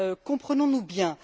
Comprenons nous bien.